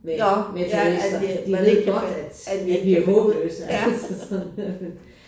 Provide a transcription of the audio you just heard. Med med turister de ved godt at at vi er håbløse altså så